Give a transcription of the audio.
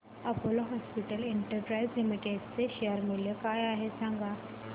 Apollo hospitals enterprise limited चे share मूल्य काय आहे सांगा